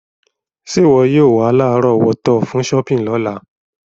Sé wọ yio wa lárọ̀wọ́tó fun shopping lọ́la